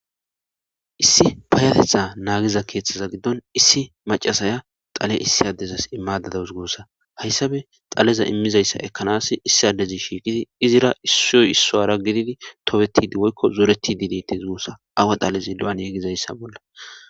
Issi payatetha naagiza keeththaza giddon issi macasaya xale issi addezas immadadawus goossa hayssabe xaleza immizayssa ekkanas issi addezi shiiqidi izira issoy isso ara gididi topetidi woykko zoreti dinete zuussa awa xalezi lu7an yegizayssa bolla.